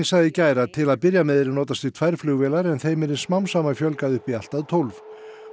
sagði í gær að til að byrja með yrði notast við tvær flugvélar en þeim yrði smám saman fjölgað upp í allt að tólf